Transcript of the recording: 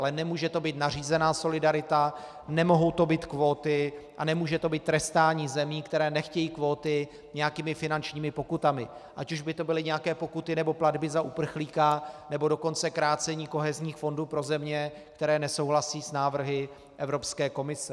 Ale nemůže to být nařízená solidarita, nemohou to být kvóty a nemůže to být trestání zemí, které nechtějí kvóty, nějakými finančními pokutami, ať už by to byly nějaké pokuty, nebo platby za uprchlíka, nebo dokonce krácení kohezních fondů pro země, které nesouhlasí s návrhy Evropské komise.